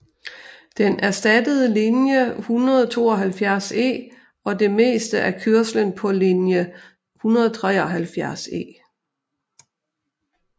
Den erstattede linje 172E og det meste af kørslen på linje 173E